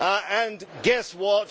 and, guess what?